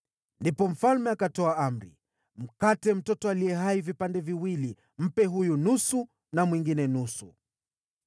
Ndipo mfalme akatoa amri: “Mkate mtoto aliye hai vipande viwili; mpe huyu nusu na mwingine nusu.”